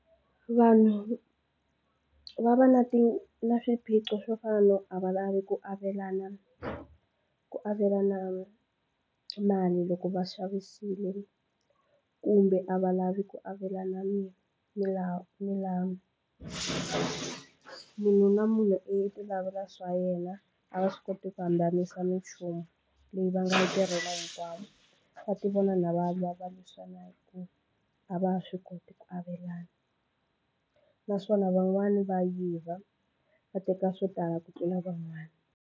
Vanhu va va na ti na swiphiqo swo fana no a va lavi ku avelana ku avelana mali loko va xavisile kumbe a va lavi ku avelana milawu milawu munhu na munhu i tilavela swa yena a va swi koti ku hambanisa minchumu leyi va nga yi tirhela hinkwavo. Va tivona na va lwa va lwisana hi ku a va swi koti ku avelana naswona van'wani va yiva va teka swo tala ku tlula van'wana.